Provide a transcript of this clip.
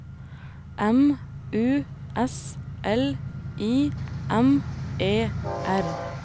M U S L I M E R